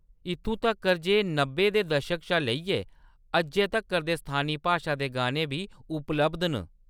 इत्थूं तक्कर ​​जे नब्बे दे दशक शा लेइयै अज्जै तक्कर दे स्थानी भाशा दे गाने बी उपलब्ध न।